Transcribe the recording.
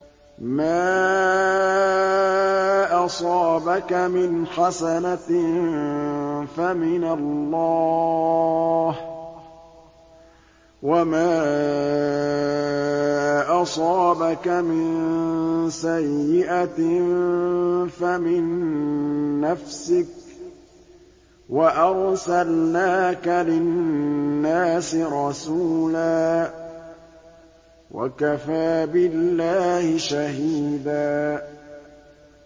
مَّا أَصَابَكَ مِنْ حَسَنَةٍ فَمِنَ اللَّهِ ۖ وَمَا أَصَابَكَ مِن سَيِّئَةٍ فَمِن نَّفْسِكَ ۚ وَأَرْسَلْنَاكَ لِلنَّاسِ رَسُولًا ۚ وَكَفَىٰ بِاللَّهِ شَهِيدًا